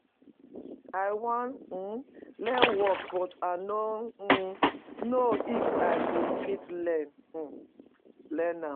I wan um learn work but I no um know if I go fit learn um am